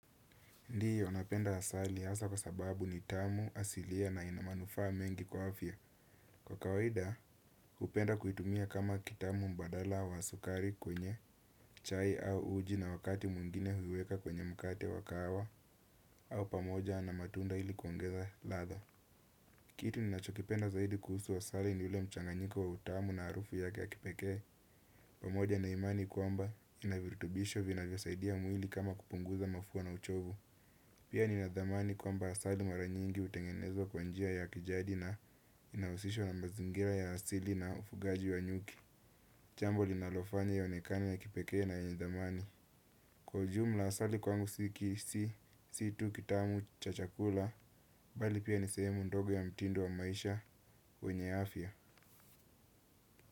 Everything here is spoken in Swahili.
Ndio, napenda asali hasa kwa sababu ni tamu, asilia na ina manufaa mengi kwa afya. Kwa kawaida, hupenda kuitumia kama kitamu mbadala wa sukari kwenye chai au uji na wakati mwingine huiweka kwenye mkate wa kawa au pamoja na matunda ili kuongeza ladha kitu ninachokipenda zaidi kuhusu asali ni ule mchanganyiko wa utamu na harufu yake ya kipekee pamoja na imani kwamba ina virutubisho vinavyo saidia mwili kama kupunguza mafua na uchovu pia ni nadhamani kwamba asali mara nyingi hutengenezwa kwa njia ya kijadi na inahusishwa na mazingira ya asili na ufugaji wa nyuki jambo linalofanya ionekane ya kipekee na yenye dhamani. Kwa ujumla asali kwangu si tu kitamu cha chakula, bali pia ni sehemu ndogo ya mtindo wa maisha, wenye afya.